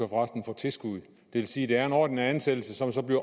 resten få tilskud det vil sige at det er en ordinær ansættelse som så bliver